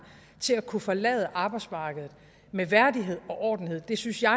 til at kunne forlade arbejdsmarkedet med værdighed og ordentlighed det synes jeg